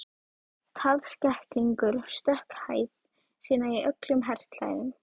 Taðskegglingur.stökk hæð sína í öllum herklæðum